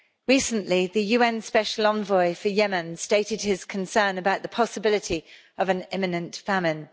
Recently, the UN Special Envoy for Yemen stated his concern about the possibility of an imminent famine.